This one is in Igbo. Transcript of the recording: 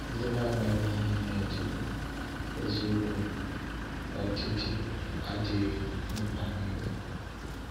Ndị na-amaghị ihe (nerd) bụ eziokwu, ọdịdị adịghị mkpa niile.